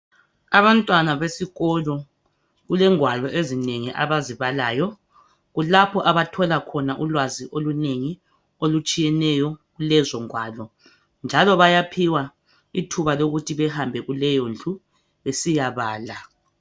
Abantwana besikolo kulegwalo ezinengi abazibalayo kulapho abathola khona ulwazi olunengi olutshiyeneyo kulezogwalo njalo bayaphiwa ithuba lokuthi bahambe kuleyo ndlu besiyabala